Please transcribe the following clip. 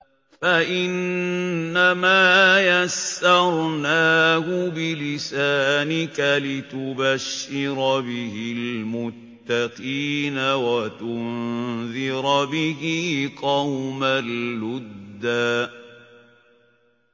فَإِنَّمَا يَسَّرْنَاهُ بِلِسَانِكَ لِتُبَشِّرَ بِهِ الْمُتَّقِينَ وَتُنذِرَ بِهِ قَوْمًا لُّدًّا